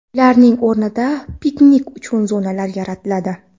Ularning o‘rnida piknik uchun zonalar yaratiladi.